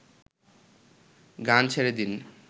গান ছেড়ে দিন